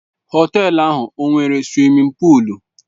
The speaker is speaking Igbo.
Họtelu ahụ ọ nwere suwimin pụụlu?